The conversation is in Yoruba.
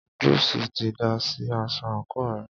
Júùsí ti dà sí aṣọ àńkò rẹ̀.